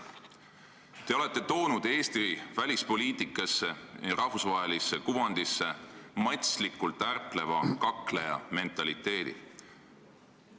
Te olete toonud Eesti välispoliitikasse, rahvusvahelisse kuvandisse matslikult ärpleva kakleja mentaliteedi.